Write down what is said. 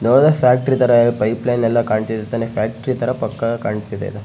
ಯಾವುದಾ factory ತರ pipeline ಎಲ್ಲ ಕಾಣ್ತಿದೆ ತಾನೆ ಫ್ಯಾಕ್ಟ್ರಿ ತರ ಪಕ್ಕ ಕಾಣ್ತಿದೆ .